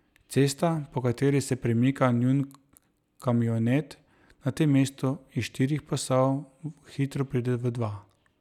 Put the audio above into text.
Cesta, po kateri se premika njun kamionet, na tem mestu iz štirih pasov hitro preide v dva.